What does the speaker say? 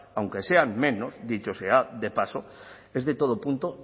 aunque sean menos dicho sea de paso es de todo punto